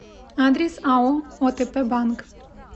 адрес ао отп банк